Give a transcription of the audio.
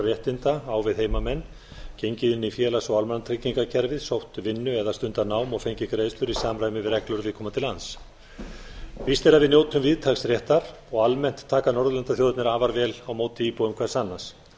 réttinda á við heimamenn gengið inn í félags og almannatryggingakerfið sótt vinnu eða stundað nám og fengið greiðslur í samræmi við reglur viðkomandi lands víst er að við njótum víðtæks réttar og almennt taka norðurlandaþjóðirnar afar vel á móti íbúum hvers annars engu